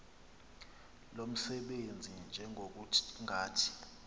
lo msebenzi njengokungathi